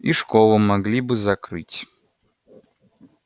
и школу могли бы закрыть